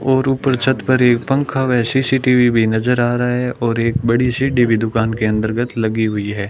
और ऊपर छत पर एक पंखा व सी_सी_टी_वी भी नजर आ रहा है और एक बड़ी सी टी_वी दुकान के अंतर्गत लगी हुई है।